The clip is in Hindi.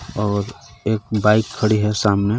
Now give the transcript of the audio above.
और एक बाइक खड़ी है सामने.